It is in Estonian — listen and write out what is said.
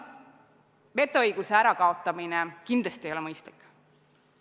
Vetoõiguse kaotamine kindlasti ei ole mõistlik.